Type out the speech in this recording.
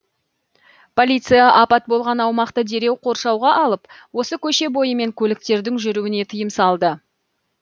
полиция апат болған аумақты дереу қоршауға алып осы көше бойымен көліктердің жүруіне тыйым салды